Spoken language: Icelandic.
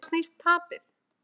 Um hvað snýst tapið?